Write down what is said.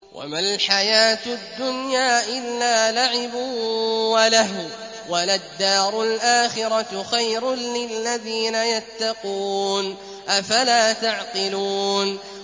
وَمَا الْحَيَاةُ الدُّنْيَا إِلَّا لَعِبٌ وَلَهْوٌ ۖ وَلَلدَّارُ الْآخِرَةُ خَيْرٌ لِّلَّذِينَ يَتَّقُونَ ۗ أَفَلَا تَعْقِلُونَ